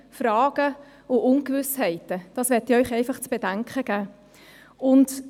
Das möchte ich Ihnen zu bedenken geben.